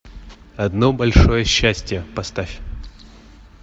одно большое счастье поставь